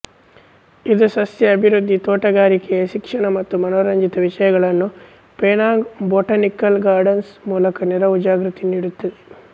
ಇದು ಸಸ್ಯ ಅಭಿವೃದ್ಧಿತೋಟಗಾರಿಕೆಶಿಕ್ಷಣ ಮತ್ತು ಮನೋರಂಜಿತ ವಿಷಯಗಳನ್ನು ಪೆನಾಂಗ್ ಬೊಟಾನಿಕಲ್ ಗಾರ್ಡನ್ಸ್ ಮೂಲಕ ನೆರವುಜಾಗೃತಿ ನೀಡುತ್ತದೆ